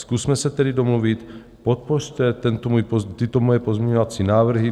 Zkusme se tedy domluvit, podpořte tyto moje pozměňovací návrhy.